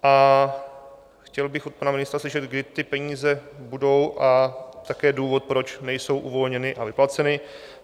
A chtěl bych od pana ministra slyšet, kdy ty peníze budou, a také důvod, proč nejsou uvolněny a vyplaceny.